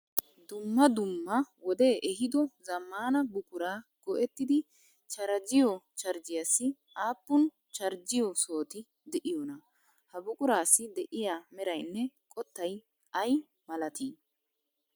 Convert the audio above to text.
Dumma dumma wodee ehiiddo zammana buquraa go'ettidi charjjiyo charjjiyaassi aappun charjjiyo sohoti de'iyonaa? Ha buquraassi de'iya meraynne qottay ay maalatii?